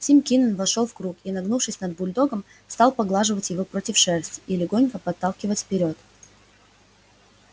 тим кинен вошёл в круг и нагнувшись над бульдогом стал поглаживать его против шерсти и легонько подталкивать вперёд